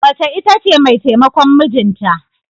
Mace ita ce mai taimakon mijinta.